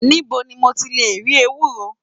Nibo ni mo ti le ri ewúro?